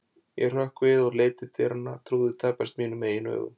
Ég hrökk við og leit til dyranna, trúði tæpast mínum eigin augum.